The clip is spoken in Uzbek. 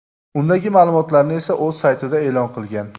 Undagi ma’lumotlarni esa o‘z saytida e’lon qilgan.